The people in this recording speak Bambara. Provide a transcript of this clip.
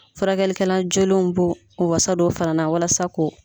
Furakɛli kɛlan joolenw bɔ o wasa dɔ fana na wasa ko